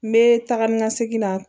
N bɛ taga ni ka segin na